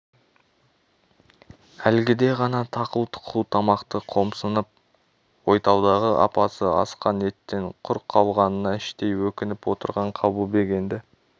әлгіде ғана тақыл-тұқыл тамақты қомсынып ойталдағы апасы асқан еттен құр қалғанына іштей өкініп отырған қабылбек енді